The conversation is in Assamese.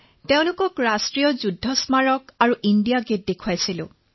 তেওঁলোকক ৰাষ্ট্ৰীয় যুদ্ধ স্মাৰক আৰু ইণ্ডিয়া গেট দেখুৱালো